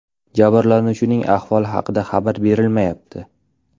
Jabrlanuvchining ahvoli haqida xabar berilmayapti.